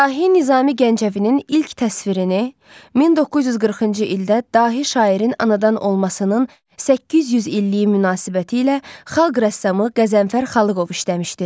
Dahi Nizami Gəncəvinin ilk təsvirini 1940-cı ildə dahi şairin anadan olmasının 800 illiyi münasibətilə xalq rəssamı Qəzənfər Xalıqov işləmişdi.